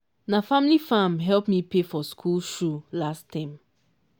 na family farm help me pay for school shoe last term.